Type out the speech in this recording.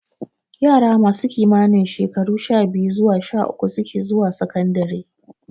Yara masu kimanin shekaru sha-biyu zuwa sha-uku suke zuwa sakandare.